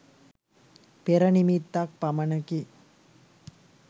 පෙර නිමිත්තක් පමණකි.